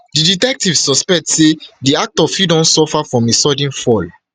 di detective suspect say di actor fit don suffer from a sudden fall